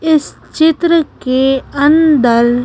इस चित्र के अंदर--